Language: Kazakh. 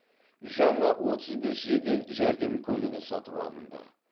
жаңа отыз бес жедел жәрдем көлігі сатып алынды